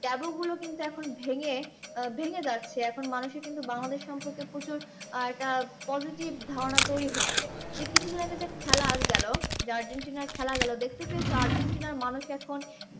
Taboo গুলো কিন্তু এখন ভেঙে আহ ভেঙে যাচ্ছে। এখন মানুষের কিন্তু বাংলাদেশ সম্পর্কে প্রচুর আর একটা positive ধারণা তৈরী হচ্ছে। কিছুদিন আগে যে খেলা আর গেল, যে আর্জেন্টিনা খেলা গেল দেখতে পেয়েছো? আর্জেন্টিনার মানুষ এখন